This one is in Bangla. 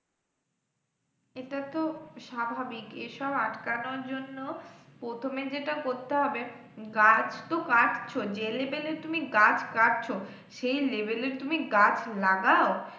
এটাতো স্বাভাবিক এসব আটকানোর জন্য প্রথমে যেটা করতে হবে, গাছ তো কাটছো যে level এ তুমি গাছ কাটছো, সেই level এ তুমি গাছ লাগাও,